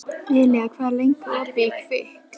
Elía, hvað er lengi opið í Kvikk?